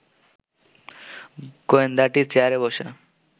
গোয়েন্দাটি চেয়ারে বসে